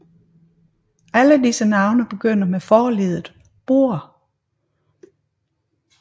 Alle disse navne begynder med forleddet Borre